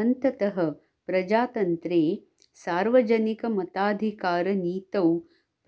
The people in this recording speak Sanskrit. अन्ततः प्रजातन्त्रे सार्वजनिकमताधिकारनीतौ